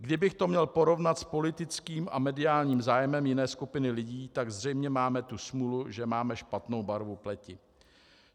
Kdybych to měl porovnat s politickým a mediálním zájmem jiné skupiny lidí, tak zřejmě máme tu smůlu, že máme špatnou barvu pleti.